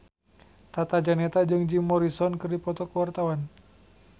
Tata Janeta jeung Jim Morrison keur dipoto ku wartawan